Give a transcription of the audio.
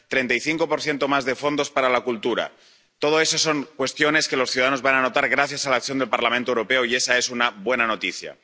35 más de fondos para la cultura. Todo eso son cuestiones que los ciudadanos van a notar gracias a la acción del Parlamento Europeo, y esa es una buena noticia.